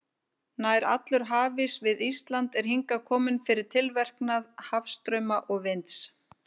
Nær allur hafís við Ísland er hingað kominn fyrir tilverknað hafstrauma og vinds.